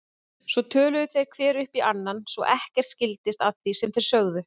Svo töluðu þeir hver upp í annan svo ekkert skildist af því sem þeir sögðu.